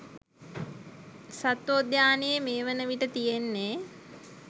සත්වෝද්‍යානයේ මේ වන විට තියෙන්නේ